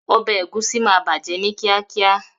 Obe egusi maà baje ni kiakia.